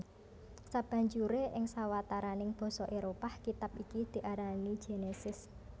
Sabanjure ing sawataraning basa Éropah kitab iki diarani Genesis